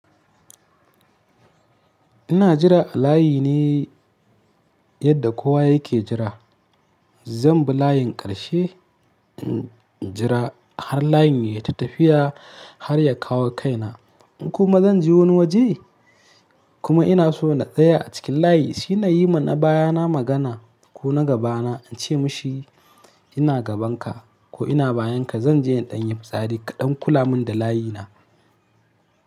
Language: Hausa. Ina jira a layi ne yadda kowa yake jira. Zan bi layin ƙarshe, jira har layin ya tafi tafiya har ya kawo kaina. Kuma zan je wani waje kuma ina so na tsaya a cikin layi, shi na yi ma na bayana magana ko na gabana in ce mashi ina gabanka ko ina bayanka. Zan je in ɗan yi fitsari kaɗan, kula mun da layina.